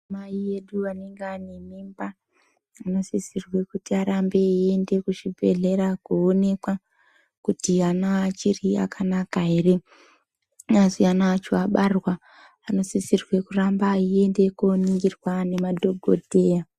Anamai edu anenge ainemimba, anosisirwe kuti arambe eiende kuzvibhedhlera koonekwa kuti ana achiri akanaka here. Asi ana acho abarwa anosisirwe kuramba aiende koningirwa ngemadhokodheya.